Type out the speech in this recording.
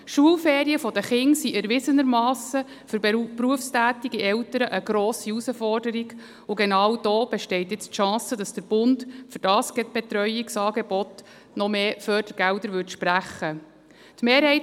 Die Schulferien der Kinder sind erwiesenermassen für berufstätige Eltern eine grosse Herausforderung, und genau da besteht nun die Chance, dass der Bund für dieses Betreuungsangebot noch mehr Fördergelder sprechen würde.